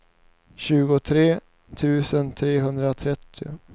tjugotre tusen trehundratrettio